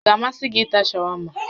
Ọ ga-amasị gị ịta shawama?